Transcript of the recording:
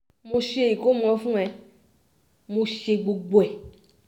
mo ṣe ìkọ́mọ fún ẹ mo ṣe gbogbo ẹ̀